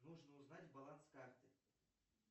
нужно узнать баланс карты